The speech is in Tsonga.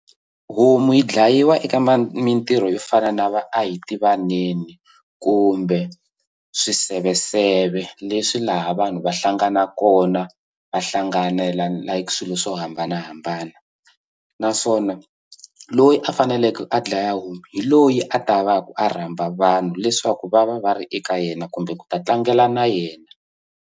Homu yi dlayiwa eka mintirho yo fana na va a hi tivaneni kumbe swiseveseve leswi laha vanhu va hlanganaka kona va hlanganela like swilo swo hambanahambana naswona loyi a faneleke a dlaya homu hi loyi a ta va ku a rhamba vanhu leswaku va va va ri eka yena kumbe ku ta tlangela na yena.